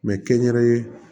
mɛ kɛnyɛrɛye